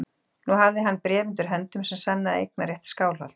Nú hafði hann bréf undir höndum sem sannaði eignarrétt Skálholts.